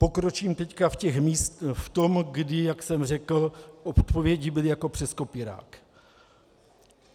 Pokročím teď v tom, kdy, jak jsem řekl, odpovědi byly jako přes kopírák.